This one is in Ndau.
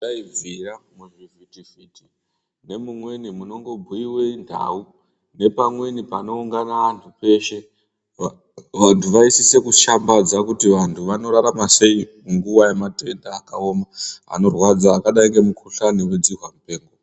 Dai zvaibvira antu muchivhiti vhiti nemumweni munobhuyiwa nhau nepamweni panoungana vantu peshe vantu vaisise kushambadza kuti vantu vanorarama sei munguva yematenda akaoma anorwadza akadai ngemukuhlani nekudzihambira.